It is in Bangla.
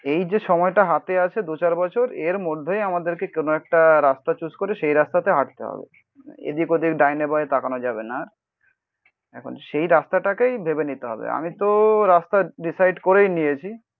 এই যে সময়টা হাতে আছে দু চার বছর এর মধ্যেই আমাদেরকে কোনো একটা রাস্তা চুজ করে সেই রাস্তাতে হাঁটতে হবে. এদিক ওদিক ডাইনে বসে তাকানো যাবে না. এখন সেই রাস্তাটাকেই ভেবে নিতে হবে. আমি তো রাস্তা ডিসাইড করেই নিয়েছি